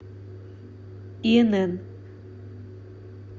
инн